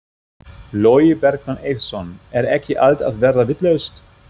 Logi Bergmann Eiðsson: Er ekki allt að verða vitlaust?